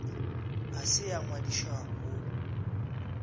a se a ngwadišwago go